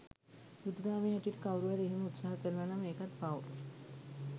බුදු දහමේ හැටියට කවුරු හරි එහෙම උත්සාහ කරනවානම් ඒකත් පව්.